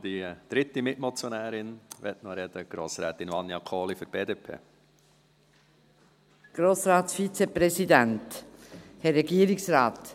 Auch die dritte Mitmotionärin möchte noch sprechen: Grossrätin Vania Kohli für die BDP.